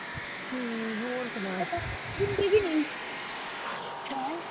ਹਮ ਹੋਰ ਸੁਣਾ ਹੈਂ